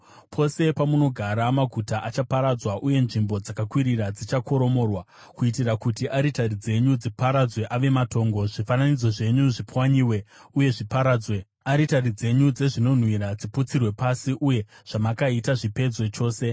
Pose pamunogara, maguta achaparadzwa uye nzvimbo dzakakwirira dzichakoromorwa, kuitira kuti aritari dzenyu dziparadzwe ave matongo, zvifananidzo zvenyu zvipwanyiwe uye zviparadzwe, aritari dzenyu dzezvinonhuhwira dziputsirwe pasi, uye zvamakaita zvipedzwe chose.